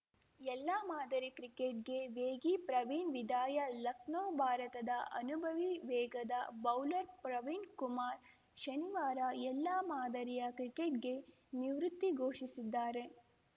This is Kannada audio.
ಎಲ್ಲಾ ಮಾದರಿ ಕ್ರಿಕೆಟ್‌ಗೆ ವೇಗಿ ಪ್ರವೀಣ್‌ ವಿದಾಯ ಲಖನೌ ಭಾರತದ ಅನುಭವಿ ವೇಗದ ಬೌಲರ್‌ ಪ್ರವೀಣ್‌ ಕುಮಾರ್‌ ಶನಿವಾರ ಎಲ್ಲಾ ಮಾದರಿಯ ಕ್ರಿಕೆಟ್‌ಗೆ ನಿವೃತ್ತಿ ಘೋಷಿಸಿದ್ದಾರೆ